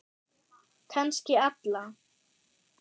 Kannski alla.